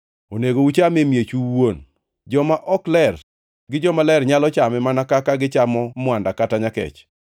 Onego uchame e miechu uwuon. Joma ok ler gi jomaler nyalo chame mana kaka gichamo mwanda kata nyakech.